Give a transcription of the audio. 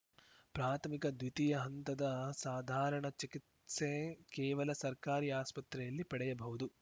ಪ್ರಾಥಮಿಕ ದ್ವಿತೀಯ ಹಂತದ ಸಾಧಾರಣ ಚಿಕಿತ್ಸೆ ಕೇವಲ ಸರ್ಕಾರಿ ಆಸ್ಪತ್ರೆಯಲ್ಲಿ ಪಡೆಯಬಹುದು